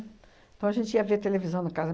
Então, a gente ia ver televisão na casa.